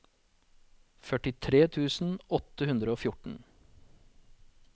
førtitre tusen åtte hundre og fjorten